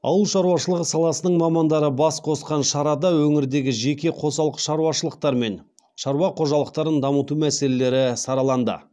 ауыл шаруашылығы саласының мамандары бас қосқан шарада өңірдегі жеке қосалқы шаруашылықтар мен шаруа қожалықтарын дамыту мәселелері сараланды